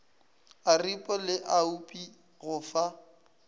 aripo le oapi go fa